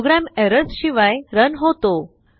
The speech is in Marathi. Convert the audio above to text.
प्रोग्राम एरर्सशिवाय रन होतो